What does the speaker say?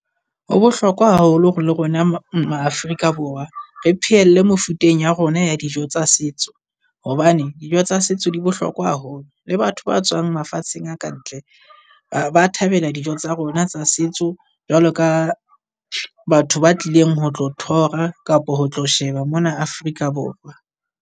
Ho bohlokwa haholo hore le rona ma-Afrika Borwa re phehelle mefuteng ya rona ya dijo tsa setso. Hobane dijo tsa setso di bohlokwa haholo le batho ba tswang mafatsheng a ka ntle ba ba thabela dijo tsa rona tsa setso jwalo ka batho ba tlileng ho tlo tour-ra kapa ho tlo sheba mona Afrika Borwa.